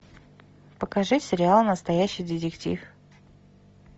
покажи сериал настоящий детектив